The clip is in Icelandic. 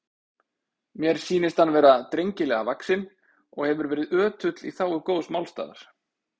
Mér sýnist hann vera drengilega vaxinn og hefur verið ötull í þágu góðs málstaðar.